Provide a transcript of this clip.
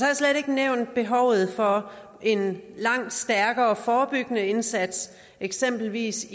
jeg slet ikke nævnt behovet for en langt stærkere forebyggende indsats eksempelvis